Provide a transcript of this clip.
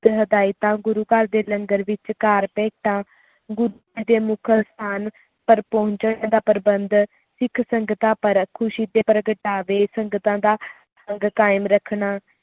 ਤੇ ਹਦਾਇਤਾਂ ਗੁਰੂ ਘਰ ਦੇ ਲੰਗਰ ਭੇਟਾਂ ਗੁਰੂ ਦੇ ਮੁਖ ਸਥਾਨ ਪਰ ਪਹੁੰਚਣ ਦਾ ਪ੍ਰਬੰਧ ਸਿੱਖ ਸੰਗਤਾਂ ਪਰ ਖੁਸ਼ੀ ਦੇ ਪ੍ਰਗਟਾਵੇ ਸੰਗਤਾਂ ਦਾ ਸੰਗ ਕਾਇਮ ਰੱਖਣਾ